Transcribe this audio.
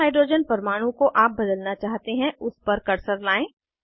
जिस हाइड्रोजन परमाणु को आप बदलना चाहते हैं उस पर कर्सर लाएं